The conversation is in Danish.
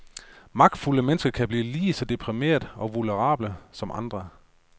Magtfulde mennesker kan blive lige så deprimerede og vulnerable som andre.